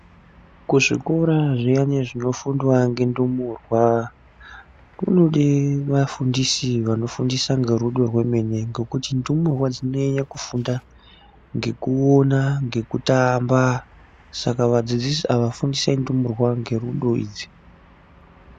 Kuzvikora zviyani zvinofundwa ngendumurwa, kunode vafundisi vanofundisa ngerudo rwemene ngekuti ndumurwa dzinonyanye kufunda ngekuona, ngekutamba. Saka vafundisi ava fundisai ndumurwa ngerudo idzi.